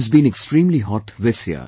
It has been extremely hot this year